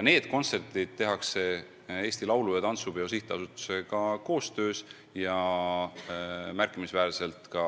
Need kontserdid korraldatakse Eesti Laulu- ja Tantsupeo Sihtasutusega koostöös ja märkimisväärselt ka